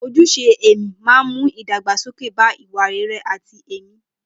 Ojúṣe ẹ̀mí máa ń mú ìdàgbàsókè bá ìwà rere àti ẹ̀mí.